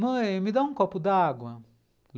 Mãe, me dá um copo d'água.